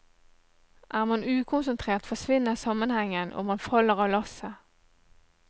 Er man ukonsentrert, forsvinner sammenhengen, og man faller av lasset.